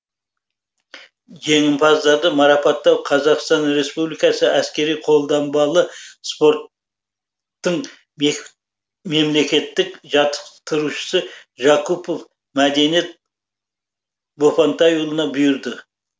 жеңімпаздарды марапаттау қазақстан республикасы әскери қолданбалы спорт тың мемлекеттік жаттықтырушысы жакупов мәдениет бопантайұлына бұйырды